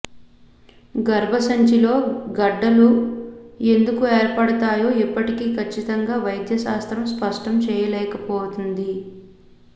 గర్భసంచిలో గడ్డలు లు ఎందుకు ఏర్పడతాయో ఇప్పటికీ కచ్చితంగా వైద్యశాస్త్రం స్పష్టం చేయలేకపోతోంది